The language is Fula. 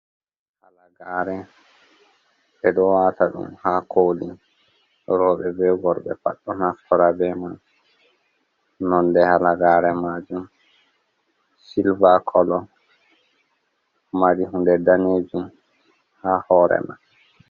Halagare ɓe ɗo wata ɗum ha koli, roɓe be worbe pat ɗo naftora be man nonde halagare majum silva kolo, mari hunde danejum ha hore man.